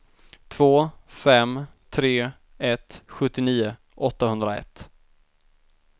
två fem tre ett sjuttionio åttahundraett